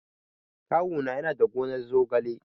Kawu na yana da gonar zogale.